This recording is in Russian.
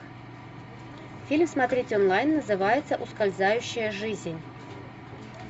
фильм смотреть онлайн называется ускользающая жизнь